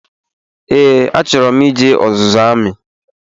Ee, a chọrọ m ije ọzụzụ amị